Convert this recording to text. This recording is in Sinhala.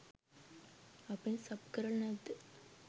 අපෙන් සබ් කරල නැද්ද.